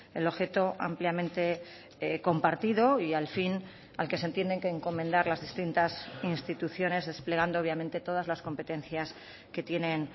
el objeto ampliamente compartido y al fin al que se entienden que encomendar las distintas instituciones desplegando obviamente todas las competencias que tienen